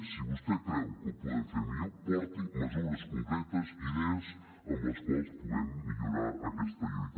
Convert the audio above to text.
si vostè creu que ho podem fer millor porti mesures concretes idees amb les quals puguem millorar aquesta lluita